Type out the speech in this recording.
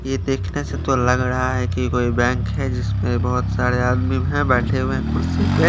ये देख ने से तो लग रहा है कोई बैंक है जिसमे बोहोत सारे आदमी है बेठे हुए कुर्सी पे --